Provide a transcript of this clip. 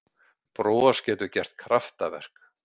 Bros getur gert kraftaverk